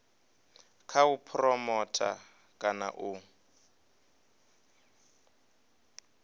kha u phuromotha kana u